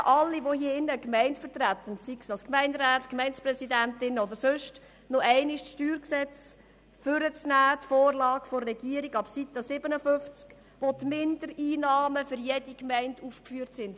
Ich bitte alle im Saal, die eine Gemeinde vertreten, sei dies als Gemeinderat beziehungsweise Gemeinderätin oder in anderer Funktion, die Vorlage der Regierung zum StG nochmals hervorzuholen und ab Seite 57 zu studieren, wo die Mindereinnahmen für jede Gemeinde aufgeführt sind.